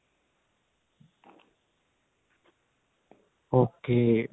ok